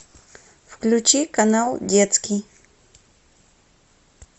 включи канал детский